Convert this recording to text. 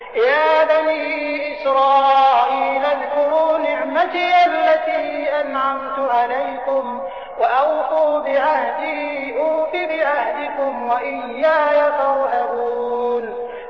يَا بَنِي إِسْرَائِيلَ اذْكُرُوا نِعْمَتِيَ الَّتِي أَنْعَمْتُ عَلَيْكُمْ وَأَوْفُوا بِعَهْدِي أُوفِ بِعَهْدِكُمْ وَإِيَّايَ فَارْهَبُونِ